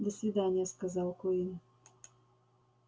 до свидания сказал куинн